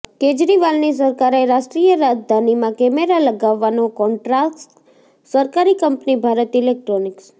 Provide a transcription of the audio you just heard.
કેજરીવાલની સરકારે રાષ્ટ્રીય રાજધાનીમાં કેમેરા લગાવવાનો કોન્ટ્રાક્ટ સરકારી કંપની ભારત ઈલેક્ટ્રોનિક્સ